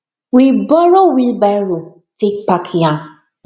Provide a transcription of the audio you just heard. we borrow wheelbarrow take pack yam